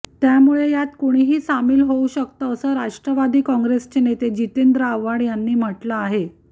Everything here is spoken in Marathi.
त्यामुळे यात कुणीही सामील होऊ शकतं असं राष्ट्रवादी काँग्रेसचे नेते जितेंद्र आव्हाड यांनी म्हटलं आहे